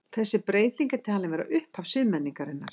Þessi breyting er talin vera upphaf siðmenningarinnar.